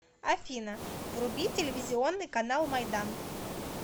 афина вруби телевизионный канал майдан